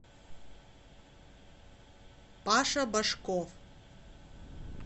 паша башков